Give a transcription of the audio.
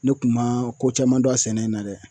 Ne kumaa ko caman don a sɛnɛ in na dɛ.